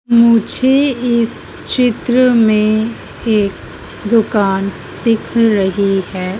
मुझे इस चित्र में एक दुकान दिख रही है।